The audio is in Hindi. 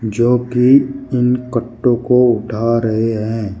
जो कि इन कट्टों को उठा रहे हैं।